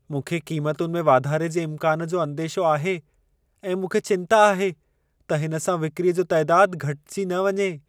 मूंखे क़ीमतुनि में वाधारे जे इमकान जो अंदेशो आहे ऐं मूंखे चिंता आहे त हिन सां विक्रीअ जो तइदादु घटिजी न वञे।